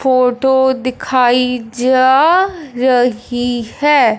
Photo दिखाई जा रही है।